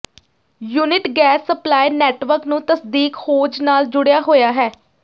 unit gas supply network ਨੂੰ ਤਸਦੀਕ hose ਨਾਲ ਜੁੜਿਆ ਹੋਇਆ ਹੈ